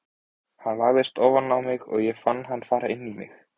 Hann lagðist ofan á mig og ég fann hann fara inn í mig.